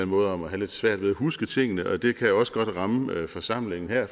måde om at have lidt svært ved at huske tingene og det kan også godt ramme forsamlingen her